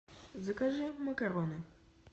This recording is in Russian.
закажи макароны